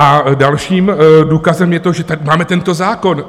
A dalším důkazem je to, že máme tento zákon.